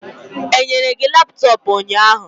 Enyere gi laptọọpụ ụnyahụ?